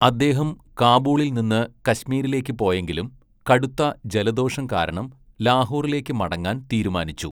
അദ്ദേഹം കാബൂളിൽ നിന്ന് കശ്മീരിലേക്ക് പോയെങ്കിലും കടുത്ത ജലദോഷം കാരണം ലാഹോറിലേക്ക് മടങ്ങാൻ തീരുമാനിച്ചു.